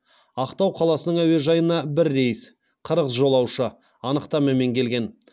ақтау қаласының әуежайына бір рейс қырық жолаушы анықтамамен келген